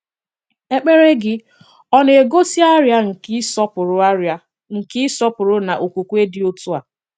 Èkpèrè gị̀ ọ na-egosi àrịà nke ị̀sọpụrụ̀ àrịà nke ị̀sọpụrụ̀ na okwùkwè dị otu a?